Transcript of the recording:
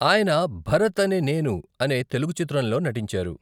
ఆయన భరత్ అనే నేను అనే తెలుగు చిత్రంలో నటించారు.